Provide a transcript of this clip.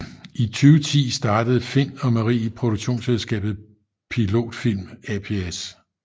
I 2010 startede Find og Marie produktionsselskabet Pilot Film ApS